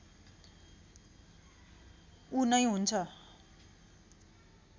ऊ नै हुन्छ